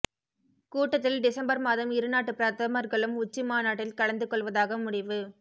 கூட்டத்தில் டிசம்பர் மாதம் இருநாட்டு பிரதமர்களும் உச்சிமாநாட்டில் கலந்து கொள்வதாக முடிவு